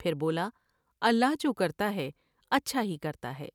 پھر بولا اللہ جو کرتا ہے اچھا ہی کرتا ہے ۔